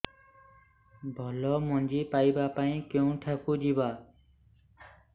ଭଲ ମଞ୍ଜି ପାଇବା ପାଇଁ କେଉଁଠାକୁ ଯିବା